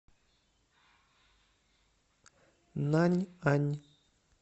наньань